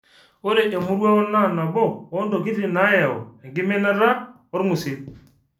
Ore emoruao naa nabo oo ntokitin naayau enkiminata olng'usil.